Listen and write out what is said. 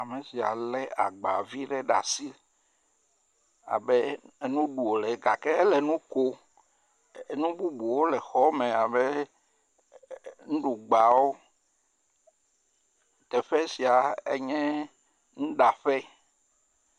Teƒe sia enye enuɖaƒe, ame sia lé agba vi ɖe ɖe asi abe enu ɖu wòle gake ele nu ko, nu bubuwo le xɔ me abe nuɖuwo.